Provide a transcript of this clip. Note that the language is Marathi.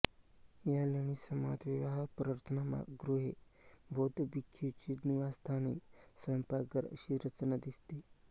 या लेणी समूहात विहार प्रार्थनागृहे बौद्ध भिक्खूंची निवासस्थाने स्वयंपाकघर अशी रचना दिसते